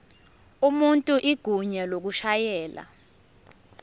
umuntu igunya lokushayela